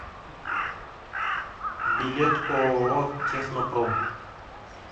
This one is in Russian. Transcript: билет ооо технопром